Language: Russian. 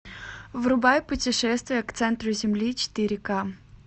врубай путешествие к центру земли четыре ка